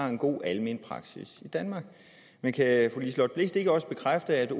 har en god almen praksis i danmark men kan fru liselott blixt ikke også bekræfte at